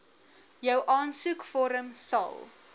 jou aansoekvorm sal